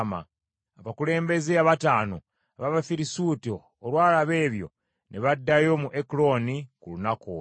Abakulembeze abataano ab’Abafirisuuti olwalaba ebyo, ne baddayo mu Ekuloni ku lunaku olwo.